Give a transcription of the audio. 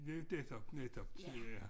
Netop netop ja